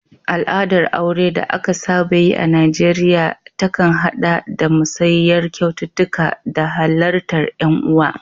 Al'adar aure da aka saba yi a Najeriya ta kan haɗa da musayar kyaututtuka da halartar ƴan uwa.